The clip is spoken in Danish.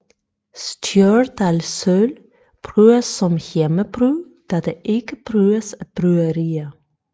Stjørdalsøl brygges som hjemmebryg da det ikke brygges af bryggerier